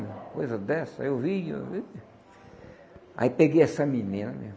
Coisa dessa aí eu vi. Aí peguei essa menina mesmo